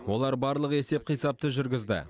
олар барлық есеп қисапты жүргізді